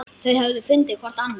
Þau höfðu fundið hvort annað.